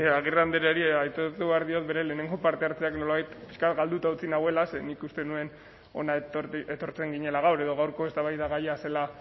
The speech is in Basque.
agirre andreari aitortu behar diot bere lehenengo parte hartzeak nolabait pixka bat galduta utzi nauela zeren nik uste nuen hona etortzen ginela gaur edo gaurko eztabaidagaia zela